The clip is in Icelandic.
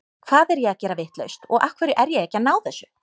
Hvað er ég að gera vitlaust og af hverju er ég ekki að ná þessu?